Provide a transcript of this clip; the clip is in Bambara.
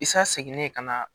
Isa seginne ka na